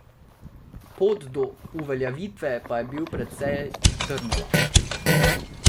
Pot do uveljavitve pa je bil precej trnova.